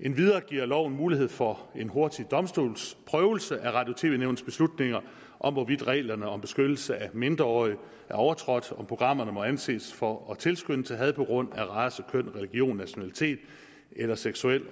endvidere giver loven mulighed for en hurtig domstolsprøvelse af radio og tv nævnets beslutninger om hvorvidt reglerne om beskyttelse af mindreårige er overtrådt om programmer må anses for at tilskynde til had på grund af race køn religion nationalitet eller seksuel